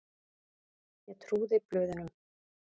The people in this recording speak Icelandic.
Ég trúði blöðunum.